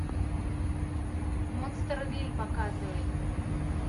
монстервилль показывай